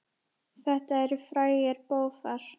Þetta eru frægir bófar.